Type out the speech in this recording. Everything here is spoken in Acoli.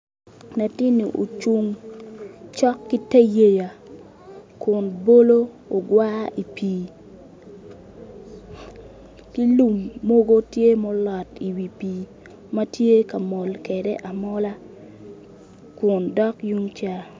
Latini ocung cok ki te yeya Kun bolo ogwar i pii ki lum mogo tye mulot I wi pii ma tye ka mol kede amola kin dok tung ca